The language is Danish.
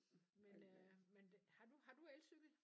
Men øh har du har du elcykel?